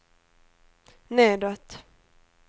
nedåt